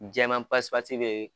Jɛman pasipasi bɛ yen.